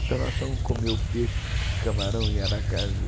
Então nós fomos comer o peixe com camarão em Aracaju.